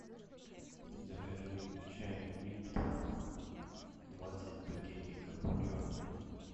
закажи чай липтон двадцать пакетиков черный